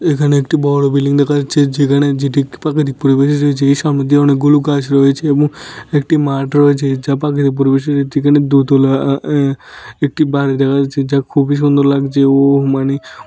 এখানে একটি বড় বিল্ডিং দেখা যাচ্ছে যেখানে যেটি প্রাকৃতিক পরিবেশে রয়েছে এর সামনের দিকে অনেকগুলো গাছ রয়েছে এবং একটি মাঠ রয়েছে এর চারপাশে পরিবেশে একটি দোতলা আ আ একটি বাড়ি দেখা যাচ্ছে যা খুবই সুন্দর লাগছে ও মানে--